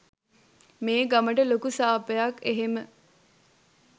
මේ ගමට ලොකු සාපයක් එහෙම